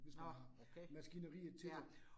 Nåh okay ja